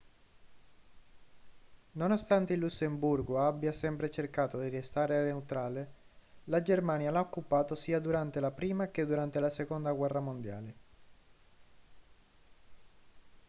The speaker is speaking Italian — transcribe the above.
nonostante il lussemburgo abbia sempre cercato di restare neutrale la germania l'ha occupato sia durante la prima che durante la seconda guerra mondiale